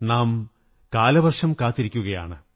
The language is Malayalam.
നാം കാലവര്ഷംഈ കാത്തിരിക്കയാണ്